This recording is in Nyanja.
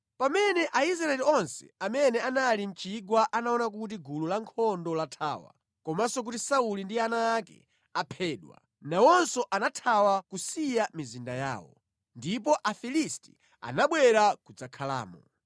Pamene Aisraeli onse amene anali mʼchigwa anaona kuti gulu lankhondo lathawa komanso kuti Sauli ndi ana ake aphedwa, nawonso anathawa kusiya mizinda yawo. Ndipo Afilisti anabwera kudzakhalamo.